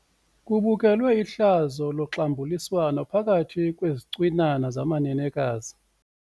Kubukelwe ihlazo loxambuliswano phakathi kwezicwinana zamanenekazi.